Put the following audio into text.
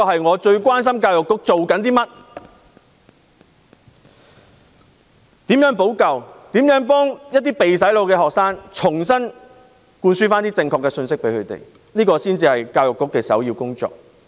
我最關心教育局在做甚麼、如何補救、如何向被"洗腦"的學生重新灌輸正確的信息，這才是教育局的首要工作。